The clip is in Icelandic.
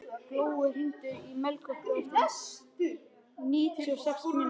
Glói, hringdu í Melkorku eftir níutíu og sex mínútur.